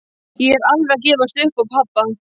Ég er alveg að gefast upp á pabba.